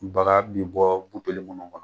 Baga bi bɔ kɔnɔ .